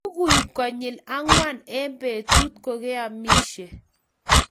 Lugui konyil angwan eng betut ,kogeamishe